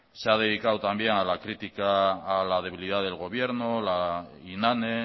se ha dedicado también a la crítica a la debilidad del gobierno a la inane